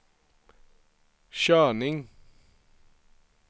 körning